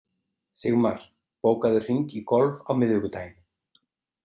Sigmar, bókaðu hring í golf á miðvikudaginn.